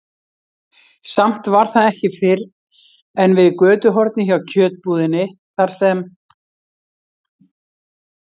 Samt var það ekki fyrr en við götuhornið hjá kjötbúðinni, þar sem